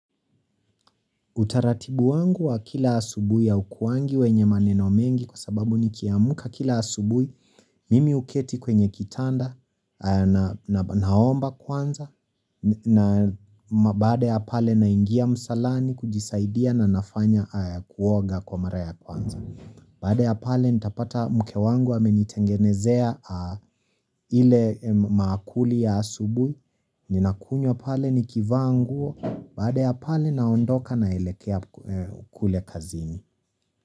Utaratibu wangu wa kila asubui ya haukuangi wenye maneno mengi kwa sababu ni kiamka kila asubui mimi huketi kwenye kitanda na naomba kwanza na baada ya pale naingia msalani kujisaidia na nafanya kuoga kwa mara ya kwanza. Baada ya pale nitapata mke wangu amenitengenezea ile maakuli ya asubuh, ninakunywa pale nikivaa nguo, baada ya pale naondoka naelekea kule kazini.